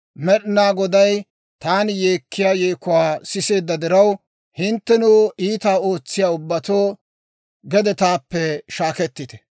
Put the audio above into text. Med'inaa Goday taani yeekkiyaa yeekuwaa siseedda diraw, Hinttenoo, iitaa ootsiyaa ubbatoo, gede taappe shaakettite.